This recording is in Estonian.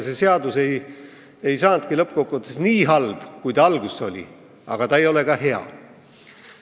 See seadus ei saanudki lõppkokkuvõttes nii halb, kui ta alguses oli, aga ta ei ole ka hea.